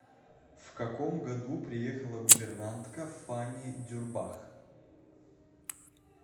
в каком году приехала гувернантка фанни дюрбах